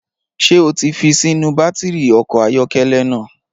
Ṣé o ti fi sínú bátìrì ọkọ̀ ayọ́kẹ́lẹ́ náà?